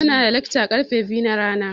Muna da lekca da karfe biyun rana.